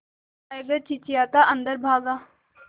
tiger चिंचिंयाता अंदर भागा